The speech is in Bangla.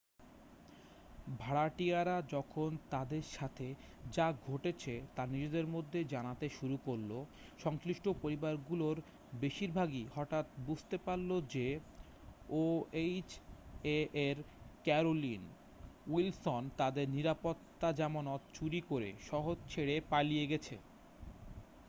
ভাড়াটিয়ারা যখন তাদের সাথে যা ঘটেছে তা নিজেদের মধ্যে জানাতে শুরু করল সংশ্লিষ্ঠ পরিবারগুলোর বেশিরভাগই হঠাৎ বুঝতে পারল যে ওএইচএ এর ক্যারোলিন উইলসন তাদের নিরাপত্তা জামানত চুরি করে শহর ছেড়ে পালিয়ে গেছে